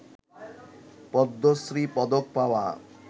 পদ্মশ্রী পদক পাওয়া